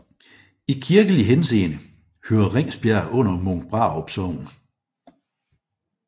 I kirkelig henseende hører Ringsbjerg under Munkbrarup Sogn